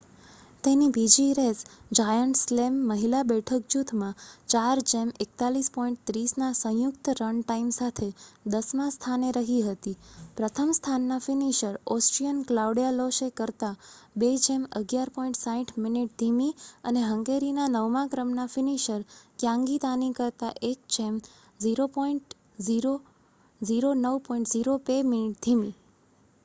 તેની બીજી race giant slalom મહિલા બેઠક જૂથમાં 4:41.30ના સંયુક્ત રન ટાઇમ સાથે દસમા સ્થાને રહી હતી પ્રથમ સ્થાનના ફિનિશર ઓસ્ટ્રિયન ક્લાઉડિયા લોશે કરતાં 2:11.60 મિનિટ ધીમી અને હંગેરીના નવમા ક્રમના ફિનિશર ગ્યાન્ગી દાની કરતા 1:09.02 મિનિટ ધીમી